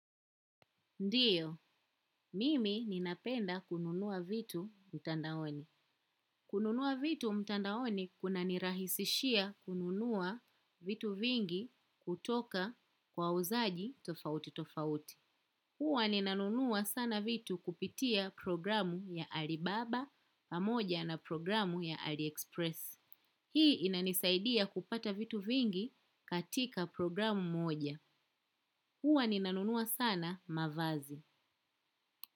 Ndiyo, mimi ninapenda kununua vitu mtandaoni. Kununua vitu mtandaoni kuna nirahisishia kununua vitu vingi kutoka wauzaji tofauti tofauti. Huwa ninanunua sana vitu kupitia programu ya Alibaba pamoja na programu ya Aliexpress. Hii inanisaidia kupata vitu vingi katika programu moja. Huwa ninanunua sana mavazi.